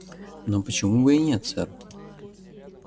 но почему бы и нет сэр